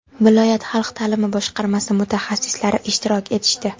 viloyat xalq ta’limi boshqarmasi mutaxassislari ishtirok etishdi.